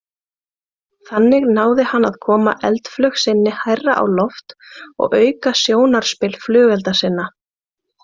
Þannig náði hann að koma eldflaug sinni hærra á loft og auka sjónarspil flugelda sinna.